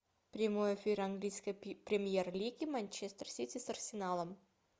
прямой эфир английской премьер лиги манчестер сити с арсеналом